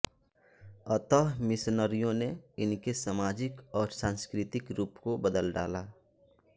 अतः मिशनरियों ने इनके सामाजिक और सांस्कृतिक रूप को बदल डाला